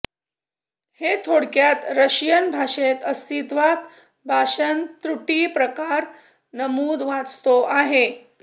हे थोडक्यात रशियन भाषेत अस्तित्वात भाषण त्रुटी प्रकार नमूद वाचतो आहे